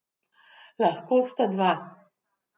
Lahko sta dva.